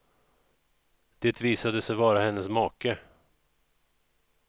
Det visade sig vara hennes make.